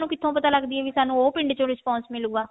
ਕਿੱਥੋਂ ਪਤਾ ਲੱਗਦਾ ਵੀ ਸਾਨੂੰ ਉਹ ਪਿੰਡ ਚੋਂ response ਮਿਲੁਗਾ